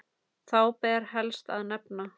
Þá ber helst að nefna